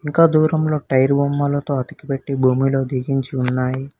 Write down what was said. ఇంకా దూరంలో టైర్ బొమ్మలతో అతికిపెట్టి భూమిలో దిగించి ఉన్నాయి.